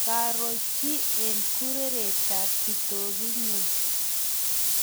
karo chi eng' kureretab kitoku nyu